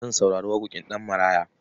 Zan saurari waƙoƙin Ɗanmaraya.